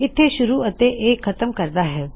ਇਥੋ ਸ਼ੁਰੂ ਅਤੇ ਇਹ ਖਤਮ ਕਰਦਾ ਹੈ